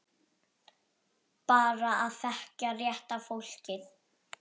Bara að þekkja rétta fólkið.